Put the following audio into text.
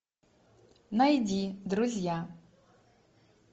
найди друзья